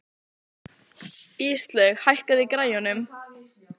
Íslaug, hækkaðu í græjunum.